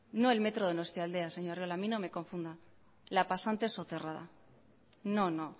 no el metro donostialdea señor arriola a mí no me confunda la pasante soterrada no no